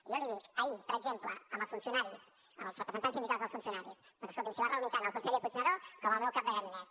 i jo li dic ahir per exemple amb els funcionaris amb els representants sindicals dels funcionaris doncs escolti’m s’hi van reunir tant el conseller puigneró com el meu cap de gabinet